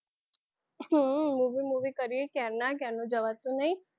હમ movie movie ક્યારના ક્યારના જવાતું નહીં.